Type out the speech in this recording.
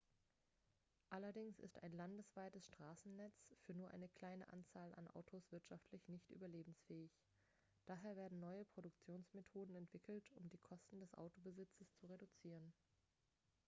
allerdings ist ein landesweites straßennetz für nur eine kleine anzahl an autos wirtschaftlich nicht überlebensfähig daher werden neue produktionsmethoden entwickelt um die kosten des autobesitzes zu reduzieren